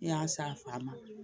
Ne y'a san a faama